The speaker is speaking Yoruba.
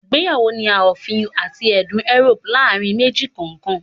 Igbeyawo ni a ofin ati ẹdun Euroopu laarin meji kọọkan